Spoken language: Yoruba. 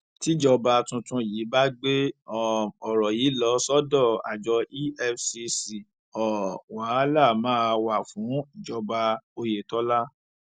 tíjọba tuntun yìí bá gbé um ọrọ yìí lọ sọdọ àjọ efcc um wàhálà máa wà fún ìjọba oyetola